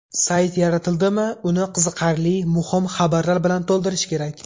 Sayt yaratildimi uni qiziqarli, muhim xabarlar bilan to‘ldirish kerak.